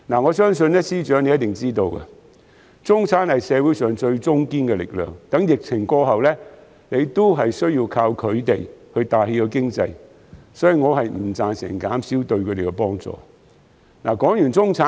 我相信司長一定知道，中產是社會上最中堅的力量，待疫情過後，還要依靠他們帶起經濟，所以我不贊成減少對他們的幫助。